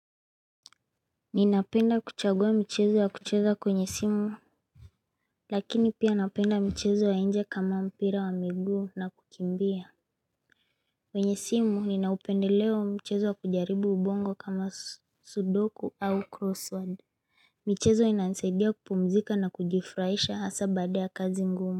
Ninapenda kuchagua mchezo wa kucheza kwenye simu Lakini pia napenda mchezo wa inje kama mpira wa miguu na kukimbia kwenye simu ninaupendeleo mchezo wa kujaribu ubongo kama sudoku au crossword michezo inanisaidia kupumzika na kujifuraisha hasa baada ya kazi ngumu.